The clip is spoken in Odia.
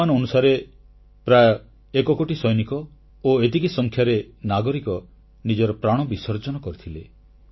ଅନୁମାନ ଅନୁସାରେ ପ୍ରାୟଃ ଏକ କୋଟି ସୈନିକ ଓ ଏତିକି ସଂଖ୍ୟାରେ ନାଗରିକ ନିଜର ପ୍ରାଣ ବିସର୍ଜନ କରିଥିଲେ